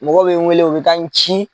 Mɔgɔw bɛ n wele u bɛ taa n ci.